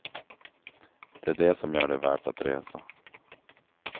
Det är det som gör det värt att resa.